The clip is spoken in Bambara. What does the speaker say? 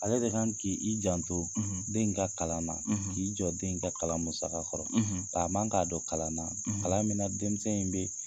Ale de kan ki i janto den in ka kalan na, k'i jɔ den in ka kalan musaka kɔrɔ. ka a man k'a don kalan na, kalan min na denmisɛn in be